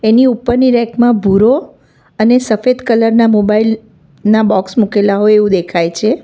ની ઉપરની રેક માં ભૂરો અને સફેદ કલર ના મોબાઈલ ના બોક્સ મુકેલા હોય એવું દેખાય છે.